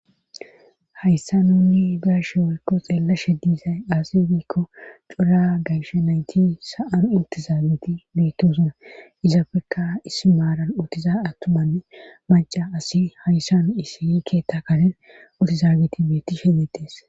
hayssa nunni diashe wiikko xeella she diisay asi wiikko cura gayshe nayti sa7ano intizaagiti beettosuna izapfeka is maaran utiza attumanne maca asi hayssa nu isii keetta karen utizaagiti beetti shedettes